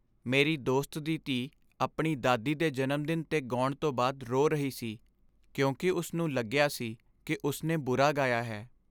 ਮੇਰੀ ਦੋਸਤ ਦੀ ਧੀ ਆਪਣੀ ਦਾਦੀ ਦੇ ਜਨਮ ਦਿਨ 'ਤੇ ਗਾਉਣ ਤੋਂ ਬਾਅਦ ਰੋ ਰਹੀ ਸੀ ਕਿਉਂਕਿ ਉਸ ਨੂੰ ਲੱਗਿਆ ਸੀ ਕਿ ਉਸ ਨੇ ਬੁਰਾ ਗਾਇਆ ਹੈ।